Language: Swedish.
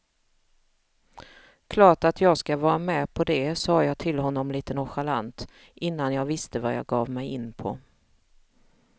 Klart att jag ska vara med på det sa jag till honom lite nonchalant, innan jag visste vad jag gav mig in på.